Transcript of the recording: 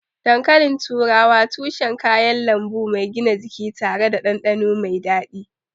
Dankalin turawa tushen kayan lambu mai gina jiki tare da dandano mai dadi.